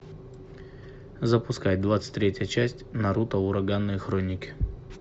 запускай двадцать третья часть наруто ураганные хроники